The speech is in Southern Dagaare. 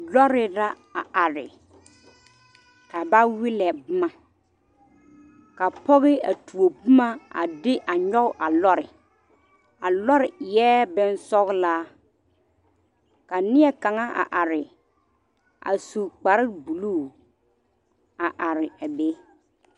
Lɔre la a are ka ba wellɛ boma ka pɔge a tuo boma a de a nyɔge a lɔre a lɔre eɛ bonsɔglaa ka neɛ kaŋa a are a su kparebulu a are a be.